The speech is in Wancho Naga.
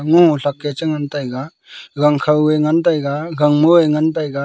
ngo sak eh ngantaiga gangkho eh ngan taiga gangmo eh ngan taiga.